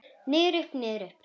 Niður, upp, niður upp.